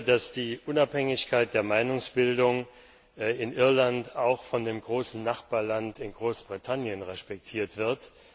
Ich hoffe, dass die Unabhängigkeit der Meinungsbildung in Irland auch von dem großen Nachbarland Großbritannien respektiert wird.